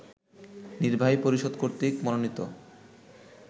নির্বাহী পরিষদ কর্তৃক মনোনীত